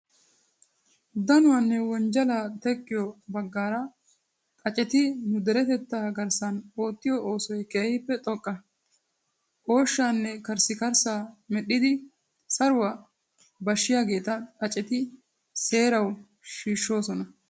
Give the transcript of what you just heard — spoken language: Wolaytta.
Danuwaanne wonjjalaa teqqiyogaa baggaara xaaceti nu deretettaa garssan oottiyo oosoy keehippe xoqqa. Ooshshaanne karissikkarssaa medhdhidi saruwaa bashshiyageeta xaaceti seerawu shiishshoosona.